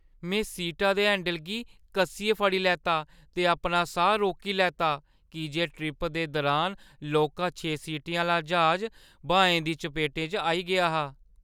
में सीटा दे हैंडल गी कस्सियै फड़ी लैता ते अपना साह् रोकी लैता की जे ट्रिप दे दुरान लौह्का छें सीटें आह्‌ला ज्हाज ब्हाएं दी चपेट च आई गेआ हा।